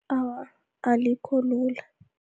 Awa, alikho lula.